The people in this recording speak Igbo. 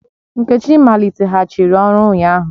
Nkechi maliteghachiri ọrụ ụnyahụ